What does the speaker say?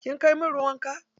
Kin kai min ruwan wanka?